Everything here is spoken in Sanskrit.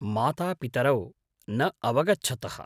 मातापितरौ न अवगच्छतः।